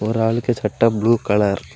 ஒரு ஆளுக்கு சட்ட ப்ளூ கலர் .